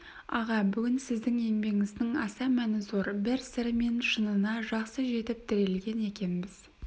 аға бүгін сіздің еңбегіңіздің аса мәні зор бір сыры мен шынына жақсы жетіп тірелген екенбіз